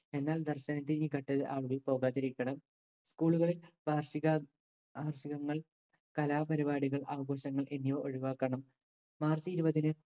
എന്നാൽ ദർശനത്തിന് കട്ട് ആരും പോകാതിരിക്കണം school കളിൽ വാർഷിക വാർഷികങ്ങൾ കലാപരിപാടികൾ ആഘോഷങ്ങൾ എന്നിവ ഒഴിവാക്കണം. മാർച്ച് ഇരുപതിന്